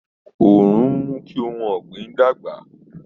Òòrùn ń mú kí ohun ọ̀gbìn dàgbà